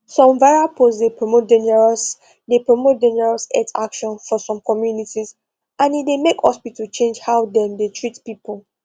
some viral post dey promote dangerous dey promote dangerous health actions for some communities and e dey make hospitals change how dem dey treat people